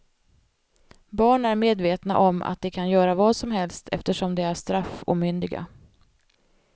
Barn är medvetna om att de kan göra vad som helst eftersom de är straffomyndiga.